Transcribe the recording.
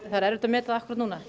er erfitt að meta það akkúrat núna